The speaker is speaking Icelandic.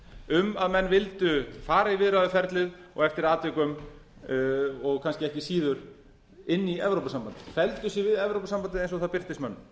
um að menn vildu fara í viðræðuferlið og eftir atvikum og kannski ekki síður inn í evrópusambandið felldu sig við evrópusambandið eins og það birtist mönnum